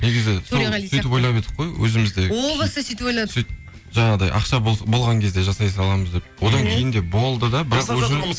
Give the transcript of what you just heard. негізі сол сөйтіп ойлап едік қой өзіміз де о баста сөйтіп ойладық жаңағыдай ақша болған кезде жасай саламыз деп одан кейін де болды да бірақ уже